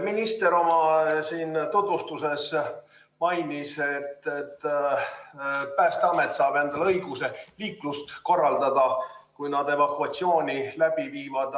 Minister oma tutvustuses mainis, et Päästeamet saab endale õiguse liiklust korraldada, kui nad evakuatsiooni läbi viivad.